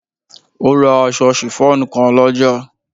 O ra aṣọ sifon kan lọ́jà.